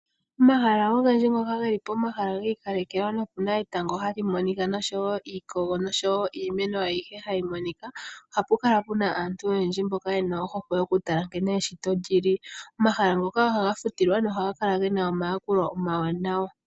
Omahala ogendji ngoka geli komahala giikalekelwa no okuna etango hali monika nosho wo iikogo nosho wo iimeno ayihe hayi monika, ohaku kala kuna aantu oyendji mboka yena ohokwe yokutala eshito nkene lyi li. Omahala ngoka ohaga futilwa na ohaga kala gena omayakulo omawanawa.